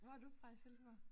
Hvor er du fra i Silkeborg?